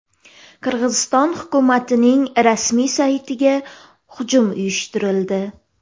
Qirg‘iziston hukumatining rasmiy saytiga hujum uyushtirildi.